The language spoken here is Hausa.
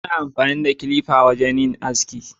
Ana amfani da kilifa wajen yin aski.